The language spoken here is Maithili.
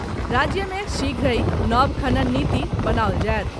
राज्य मे शीघ्रहि नव खनन नीति बनाओल जायत।